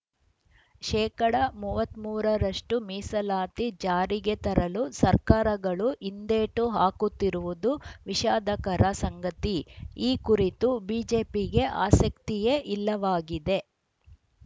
ಶೇಕಡಾ ಮೂವತ್ತ್ ಮೂರ ರಷ್ಟುಮೀಸಲಾತಿ ಜಾರಿಗೆ ತರಲು ಸರ್ಕಾರಗಳು ಹಿಂದೇಟು ಹಾಕುತ್ತಿರುವುದು ವಿಷಾದಕರ ಸಂಗತಿ ಈ ಕುರಿತು ಬಿಜೆಪಿಗೆ ಆಸಕ್ತಿಯೇ ಇಲ್ಲವಾಗಿದೆ